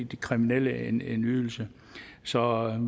de kriminelle en ydelse så